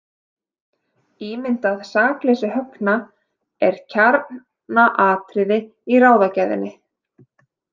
Ímyndað sakleysi Högna er kjarnaatriði í ráðagerðinni.